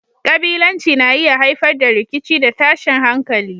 Kabilanci na iya haifar da rikici da tashin hankali.